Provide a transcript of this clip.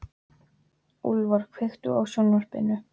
Úlfar, kveiktu á sjónvarpinu.